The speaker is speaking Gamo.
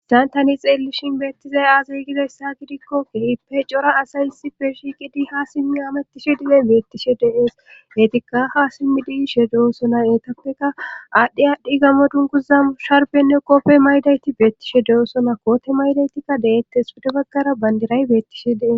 saantani xeellishin beettizay aazaygidayssa gidikko keehipe cora asay hissife shiqidi ha simmi amattishe dilen beettishe deees etikka ha simmidishe de7osona eetappeka aadhdhi aadhdhi gammo dunkuza sharbenne qoppe maydayti beettishe de7osona koote maydaytikka de7ettes pide baggara bandiray beettishe deee